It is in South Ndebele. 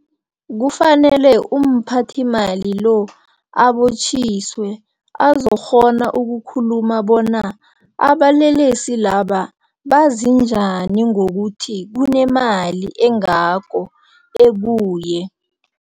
Kufanele umphathimali lo abotjhiswe, azokukghona ukukhuluma bona abalelesi laba bazi njani ngokuthi kunemali engako ekuye.